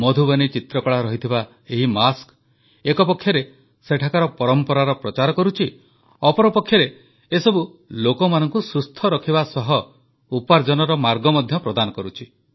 ମଧୁବନୀ ଚିତ୍ରକଳା ରହିଥିବା ଏହି ମାସ୍କ ଏକପକ୍ଷରେ ସେଠାକାର ପରମ୍ପରାର ପ୍ରଚାର କରୁଛି ଅପରପକ୍ଷରେ ଏସବୁ ଲୋକମାନଙ୍କୁ ସୁସ୍ଥ ରଖିବା ସହ ଉପାର୍ଜନର ମାର୍ଗ ମଧ୍ୟ ପ୍ରଦାନ କରୁଛି